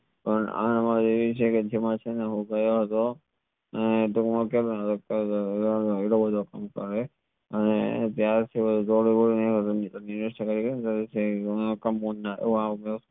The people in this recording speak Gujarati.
પણ એવી છે કે હું ગયો હતો અને